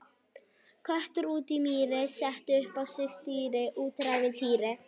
Köttur úti í mýri, setti upp á sig stýri, úti er ævintýri!